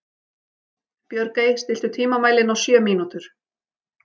Björgey, stilltu tímamælinn á sjö mínútur.